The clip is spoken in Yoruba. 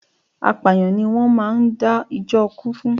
Apàyàǹ ni wón máa ń dá jó ikú fún.